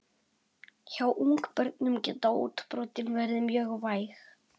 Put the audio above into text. Hjá ungbörnum geta útbrotin verið mjög væg.